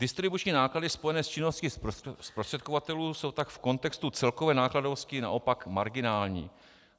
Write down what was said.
Distribuční náklady spojené s činností zprostředkovatelů jsou tak v kontextu celkové nákladovosti naopak marginální.